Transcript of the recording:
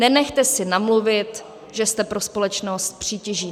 Nenechte si namluvit, že jste pro společnost přítěží.